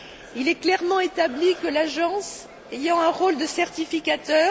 Il est clairement établi que l'Agence, ayant un rôle de certificateur,